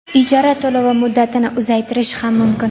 ijara to‘lovi muddatini uzaytirish ham mumkin.